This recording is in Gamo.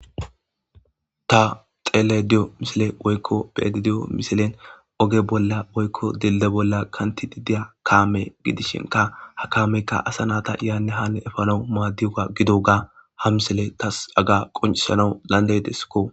Ta beyada woykon xelayda deyo misilen oge bolla woykon dildiye bolla diza kame gidishin kameyka asa nayta yahane ha efanaw madiyoga gidoga ha misiley haga qoncisanas dandayideskko